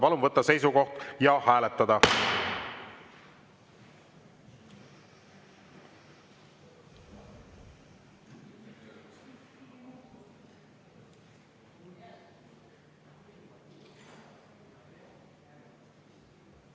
Palun võtta seisukoht ja hääletada!